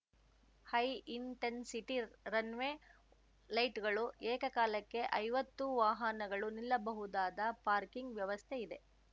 high intensity runway ಲೈಟ್‌ಗಳು ಏಕಕಾಲಕ್ಕೆ ಐವತ್ತು ವಾಹನಗಳು ನಿಲ್ಲಬಹುದಾದ ಪಾರ್ಕಿಂಗ್‌ ವ್ಯವಸ್ಥೆ ಇದೆ